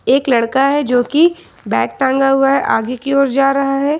एक लड़का है जो कि बैग टांगा हुआ है आगे की ओर जा रहा है।